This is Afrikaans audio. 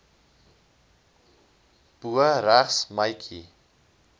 bo regs meidjie